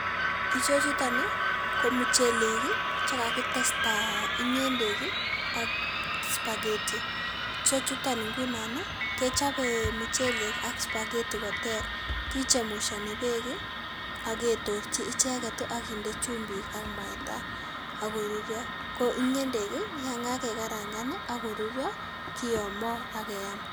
Ichechutaa ko muchelek ii chekakitestai ngendek ii ak [spergety] ichechutaan ngunon ii kechabei muchelek ak [spergety] koter kichemushani beek ak ketorjii icheget ii aginde chumbiik ak mwaita akoruria ko nge`ndek yaan kagekarangan akoruria ii kiyamaa ak keyaam